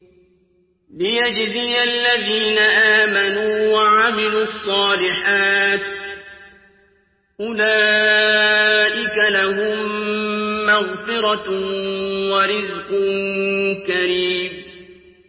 لِّيَجْزِيَ الَّذِينَ آمَنُوا وَعَمِلُوا الصَّالِحَاتِ ۚ أُولَٰئِكَ لَهُم مَّغْفِرَةٌ وَرِزْقٌ كَرِيمٌ